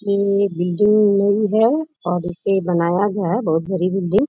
ये बिल्डिंग ही है और इसे बनाया गया है बहुत बड़ी बिल्डिंग --